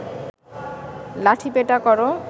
লাঠিপেটা কর